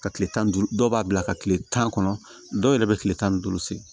Ka kile tan ni duuru dɔw b'a bila ka kile tan kɔnɔ dɔw yɛrɛ bɛ kile tan ni duuru sen